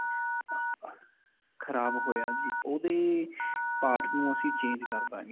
ਖਰਾਬ ਹੋਇਆ ਜੀ. ਓਹਦੇ part ਨੂੰ ਅਸੀਂ change ਕਰਦਾਂਗੇ.